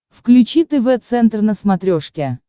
включи тв центр на смотрешке